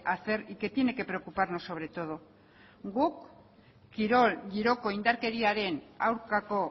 hacer y que tiene que preocuparnos sobre todo guk kirol giroko indarkeriaren aurkako